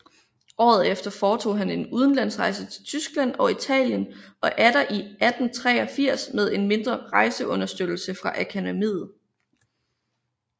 Året efter foretog han en udenlandsrejse til Tyskland og Italien og atter i 1883 med en mindre rejseunderstøttelse fra Akademiet